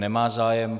Nemá zájem.